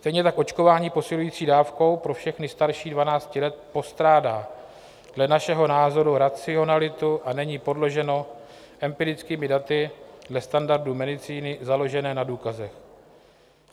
Stejně tak očkování posilující dávkou pro všechny starší 12 let postrádá dle našeho názoru racionalitu a není podloženo empirickými daty dle standardů medicíny založené na důkazech.